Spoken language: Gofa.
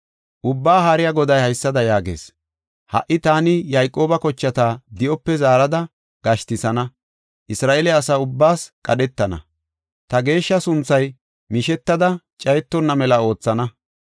Ubbaa Haariya Goday haysada yaagees. “Ha77i taani Yayqooba kochata di7ope zaarada gashtisana; Isra7eele asaa ubbaas qadhetana. Ta geeshsha sunthas mishetada cayetonna mela oothana.